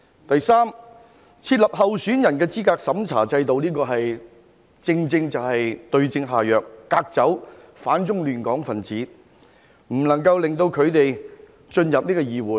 第三，設立候選人資格審查制度，正正就是對症下藥，隔走反中亂港分子，令他們無法進入議會。